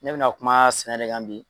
Ne bina kuma sɛnɛ de kan bi.